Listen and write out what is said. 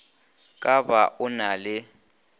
ka ba o na le